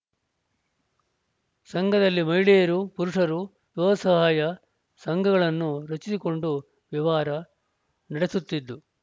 ಸಂಘದಲ್ಲಿ ಮಹಿಳೆಯರು ಪುರುಷರು ಸ್ವಸಹಾಯ ಸಂಘಗಳನ್ನು ರಚಿಸಿಕೊಂಡು ವ್ಯವಹಾರ ನಡೆಸುತ್ತಿದ್ದು